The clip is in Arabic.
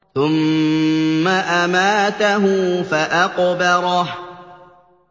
ثُمَّ أَمَاتَهُ فَأَقْبَرَهُ